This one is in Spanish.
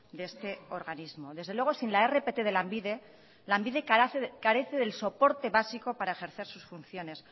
de este organismo desde luego sin la rpt de lanbide lanbide carece del soporte básico para ejercer sus funciones